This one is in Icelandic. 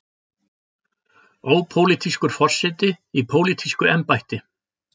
Ópólitískur forseti í pólitísku embætti.